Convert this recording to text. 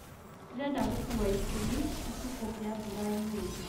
ndirenda gũkũwa iburi itukugia mburaũmũthĩ